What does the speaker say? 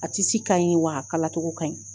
A ka ɲi wa a kala cogo ka ɲi.